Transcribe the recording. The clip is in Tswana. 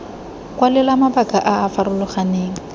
kwalela mabaka a a farologaneng